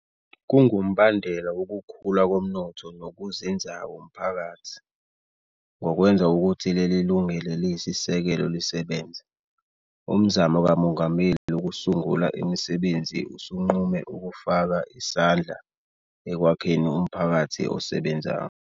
Kungumbandela wokukhula komnotho nokuzinzako mphakathi. Ngokwenza ukuthi leli lungelo eliyisisekelo lisebenze, Umzamo kaMongameli Wokusungula Imisebenzi usunqume ukufaka isandla ekwakheni umphakathi osebenzayo.